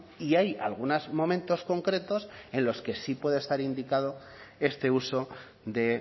y hay algunos momentos concretos en los que sí puede estar indicado este uso de